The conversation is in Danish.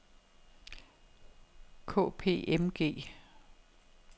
K P M G